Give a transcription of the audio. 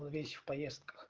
вещи в поездках